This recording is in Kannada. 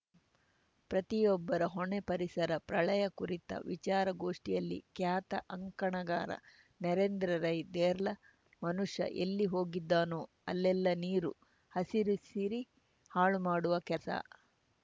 ಪ್ರತಿಯೊಬ್ಬರ ಹೊಣೆ ಪರಿಸರ ಪ್ರಳಯ ಕುರಿತ ವಿಚಾರ ಗೋಷ್ಠಿಯಲ್ಲಿ ಖ್ಯಾತ ಅಂಕಣಗಾರ ನರೇಂದ್ರ ರೈ ದೇರ್ಲ ಮನುಷ್ಯ ಎಲ್ಲಿ ಹೋಗಿದ್ದಾನೋ ಅಲ್ಲೆಲ್ಲ ನೀರು ಹಸಿರುಸಿರಿ ಹಾಳುಮಾಡುವ ಕೆಲಸ